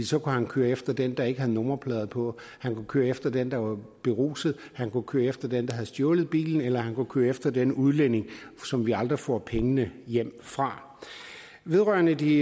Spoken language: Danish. så kunne han køre efter den der ikke havde nummerplader på han kunne køre efter den der var beruset han kunne køre efter den der havde stjålet en bil eller han kunne køre efter den udlænding som vi aldrig får pengene hjem fra vedrørende de